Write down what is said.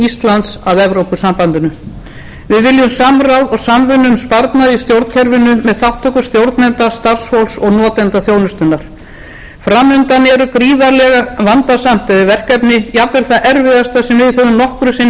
íslands að evrópusambandinu við viljum samráð og samvinnu um sparnað í stjórnkerfinu með þátttöku stjórnenda starfsfólks og notendum þjónustunnar fram undan er gríðarlega vandasamt verkefni jafnvel það erfiðasta sem við höfum nokkru sinni staðið